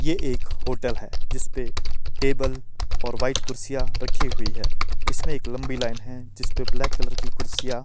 ये एक होटल है जिसपे टेबल और व्हाइट कुर्सियां रखी हुई है इसमें एक लंबी लाईन है जिसपे ब्लैक कलर की कुर्सिया--